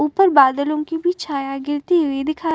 ऊपर बादलों की भी छाया गिरती हुई दिखाई --